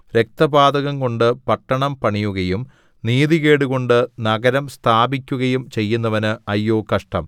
രക്തപാതകംകൊണ്ട് പട്ടണം പണിയുകയും നീതികേടുകൊണ്ട് നഗരം സ്ഥാപിക്കുകയും ചെയ്യുന്നവന് അയ്യോ കഷ്ടം